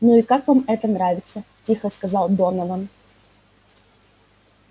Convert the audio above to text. ну и как вам это нравится тихо сказал донован